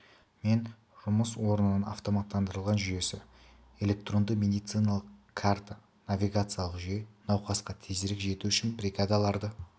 мен жұмыс орнының автоматтандырылған жүйесі электронды медициналық карта навигациялық жүйе науқасқа тезірек жету үшін бригадаларды